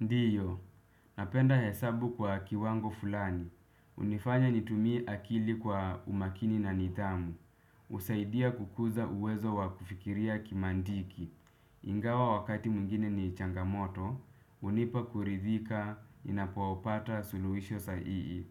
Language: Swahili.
Ndiyo, napenda hesabu kwa kiwango fulani. Hunifanya nitumie akili kwa umakini na nidhamu. Husaidia kukuza uwezo wa kufikiria kimantiki. Ingawa wakati mwingine ni changamoto, hunipa kuridhika ninapopata suluhisho sahihi.